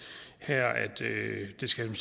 det skal